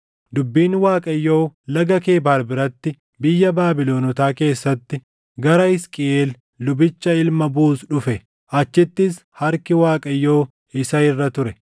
dubbiin Waaqayyoo Laga Kebaar biratti biyya Baabilonotaa keessatti gara Hisqiʼeel lubicha ilma Buuz dhufe. Achittis harki Waaqayyoo isa irra ture.